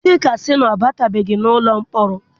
Chika sị na ọ batubeghị n'ụlọ mkpọrọ.